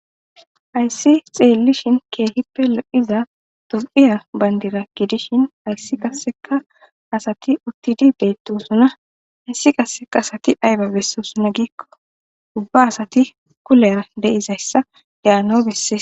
Haysi xilishin kehippe lo'iza tophiya bandira gidishin haysi qaseka asati utidi betosona haysi qase asati ayba besizo giko ubba asati gina gidizaysa beses